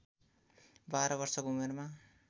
१२ वर्षको उमेरमा